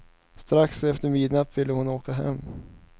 Strax efter midnatt ville hon åka hem.